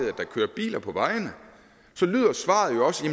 at der kører biler på vejene så lyder svaret jo også